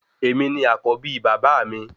Èmi ni àkọ́bí bàbá mi